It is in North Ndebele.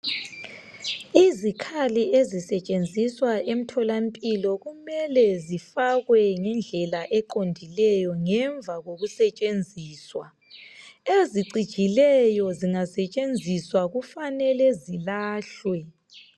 Izikhali ezisetshenziswa emtholampilo kumele zifakwe ngendlela eqondileyo ngemva kokusetshenziswa. Ezicijileyo zingasetshenziswa kufanele zilahlwe.